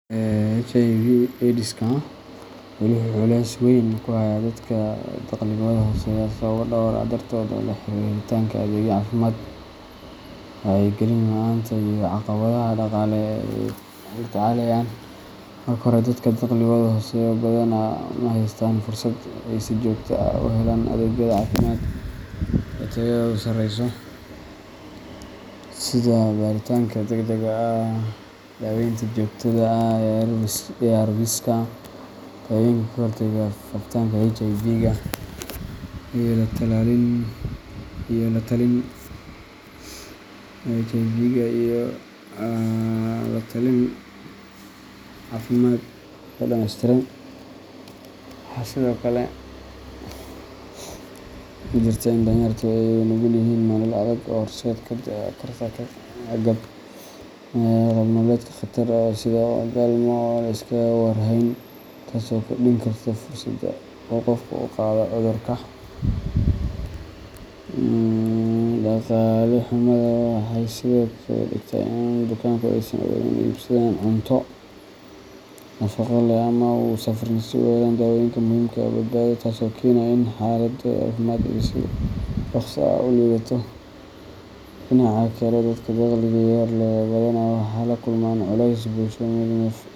HIV/AIDSka weli wuxuu culays weyn ku hayaa dadka dakhligoodu hooseeyo sababo dhowr ah dartood oo la xiriira helitaanka adeegyo caafimaad, wacyigelin la’aanta, iyo caqabadaha dhaqaale ee ay la tacaalayaan. Marka hore, dadka dakhligoodu hooseeyo badanaa ma haystaan fursad ay si joogto ah u helaan adeegyada caafimaad ee tayadoodu sarreyso, sida baaritaanka degdega ah, daaweynta joogtada ah ee ARVska daawooyinka ka hortaga faafitaanka HIVga, iyo la-talin caafimaad oo dhameystiran. Waxaa sidoo kale jirta in danyarta ay u nugul yihiin nolol adag oo horseedi karta qaab nololeedyo khatar ah, sida galmo aan la iskaga war hayn, taas oo kordhin karta fursadda uu qofku ku qaado cudurka. Dhaqaale xumadu waxay sidoo kale ka dhigtaa in bukaanku aysan awoodin inay iibsadaan cunto nafaqo leh ama ay u safraan si ay u helaan daawooyinka muhiimka u ah badbaadadooda, taas oo keenaysa in xaaladooda caafimaad ay si dhakhso ah u liidato. Dhinaca kale, dadka dakhliga yar leh badanaa waxay la kulmaan culeysyo bulsho iyo mid nafsiyeed.